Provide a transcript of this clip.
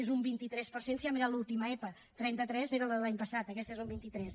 és un vint tres per cent si ha mirat l’última epa trenta tres era la de l’any passat aquesta és un vint tres